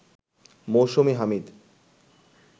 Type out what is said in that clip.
Mousumi Hamid